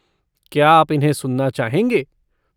क्या आप इन्हें सुनना चाहेंगे?